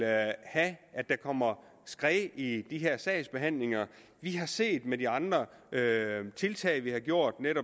at at der kommer skred i de her sagsbehandlinger vi har set ved de andre tiltag vi har gjort